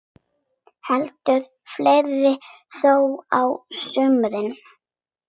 Heldur fleira þó á sumrin.